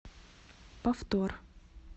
повтор